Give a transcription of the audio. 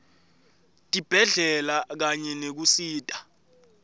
tibhedlela kanye nekusita